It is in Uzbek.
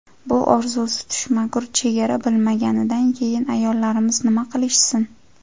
Bu orzusi tushmagur chegara bilmaganidan keyin ayollarimiz nima qilishsin?